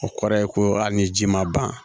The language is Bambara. O kɔrɔ ye ko ali ni ji ma ban